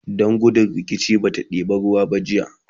Dan gudun rikici bata ɗeba ruwan ba jiya